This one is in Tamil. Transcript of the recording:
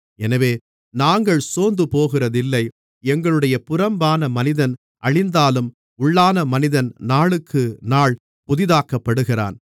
எனவே நாங்கள் சோர்ந்துபோகிறதில்லை எங்களுடைய புறம்பான மனிதன் அழிந்தாலும் உள்ளான மனிதன் நாளுக்குநாள் புதிதாக்கப்படுகிறான்